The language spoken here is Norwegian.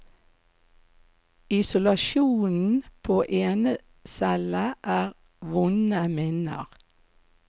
Isolasjonen på enecelle er vonde minner.